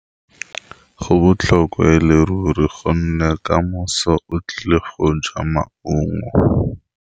Go botlhokwa ya leruri gonne ka moso o tlile go ja maungo.